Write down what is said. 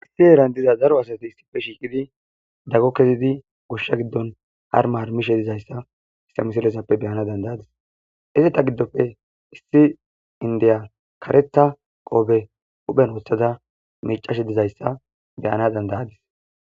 Issi eeran diza zaro asati issife shiiqidi daggo kezidi goshsha giddon har maarmishe dizayssa istamisilezappe beyana dandayadis izeta giddopfe issi indeya kareta qoobe huhphen woththada micashe dizayssa beyana dandayadis.